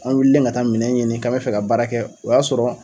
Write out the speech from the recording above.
an wililen ka taa minɛn ɲini k'an bɛ fɛ ka baara kɛ o y'a sɔrɔ